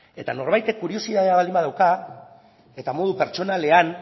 eta norbaitek kuriositatea baldin badauka eta modu pertsonalean